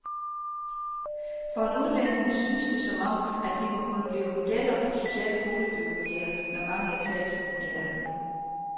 For en udlænding synes det som om, at de må kunne blive modeller for sociale boligbyggerier med mange etager, vurderer han.